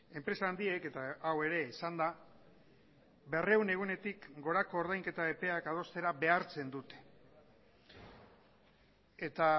enpresa handiek eta hau ere esan da berrehun egunetik gorako ordainketa epeak adostera behartzen dute eta